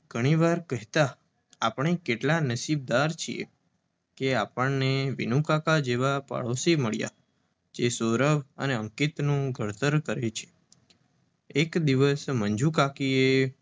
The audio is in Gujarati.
ઘણી વાર કહેતા, આપણે કેટલાં નસીબદાર છીએ કે વિનુકાકા જેવા પાડોશીમળ્યા એ સૌરભ સાથે અંકિતનું ઘડતર કરે છે. એક દિવશ મંજુકાકિએ